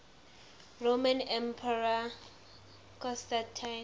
roman emperor constantine